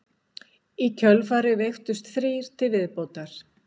Í kjölfarið veiktust þrír til viðbótar